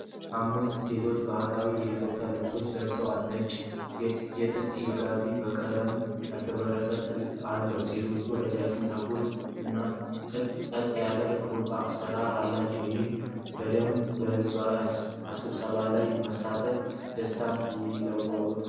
አምስት ሴቶች ባህላዊ የኢትዮጵያ ልብሶችን ለብሰዋል። ነጭ የጥጥ ጋቢያቸው በቀለም ያሸበረቀ ጥልፍ አለው። ሴቶቹ ረጅም ጥቁር ፀጉር እና ቅጥ ያጣ የሽሩባ አሰራር አላቸው። ይህ ቡድን በሕዝብ ስብሰባ ላይ በመሳተፍ ደስታ ይለዋወጣል።